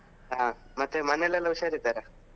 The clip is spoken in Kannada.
ಹಾ ಮತ್ತೆ ಮನೆಯಲ್ಲೆಲ್ಲ ಹುಷಾರಿದ್ದಾರಾ?